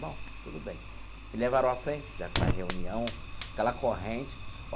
Bom tudo bem me levaram à frente, fizeram aquela reunião, aquela corrente.